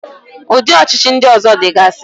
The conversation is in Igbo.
Ụdị ọchịchị ndị ọzọ dịgasi.